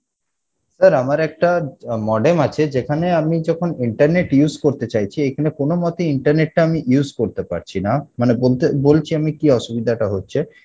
sir আমার একটা আহ modem আছে যেখানে আমি যখন internet use করতে চাইছি এখানে কোনো মতে internet টা আমি use করতে পারছি না মানে বলতে বলেছি আমি কী অসুবিধা টা হচ্ছে